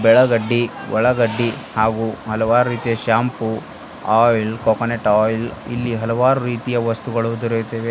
ಬೆಳಗಡ್ಡಿ ಉಳ್ಳಾಗಡ್ಡಿ ಹಾಗು ಹಲವಾರು ರೀತಿಯ ಶಾಂಪೂ ಆಯಿಲ್ ಕೊಕೊನಟ್ ಆಯಿಲ್ ಇಲ್ಲಿ ಹಲವಾರು ರೀತಿಯ ವಸ್ತುಗಳು ದೊರೆಯುತ್ತವೆ.